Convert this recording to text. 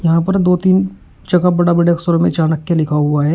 यहां पर दो तीन जगह बड़ा बड़े अक्षर में चाणक्य लिखा हुआ है।